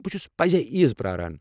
بہٕ چھُس پٔزۍعیز پرٛاران۔